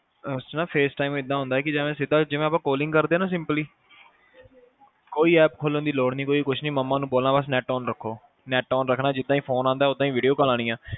face time ਏਦਾਂ ਹੁੰਦਾ ਕਿ ਜਿਵੇ ਸਿੱਧਾ ਜਿਵੇ ਆਪਾ calling ਕਰਦੇ ਆ ਨਾ simply ਕੋਈ app ਖੋਲਣ ਦੀ ਲੋੜ ਨਹੀ ਕੋਈ ਕੁੱਛ ਨੀ ਮਮਾ ਨੂੰ ਬੋਲਣਾ ਬਸ net on ਰੱਖੋ net on ਰੱਖਣਾ ਜਿੰਦਾ ਈ ਫੋਨ ਆਉਦਾ ਉਦਾ ਈ ਆਉਣੀ ਆ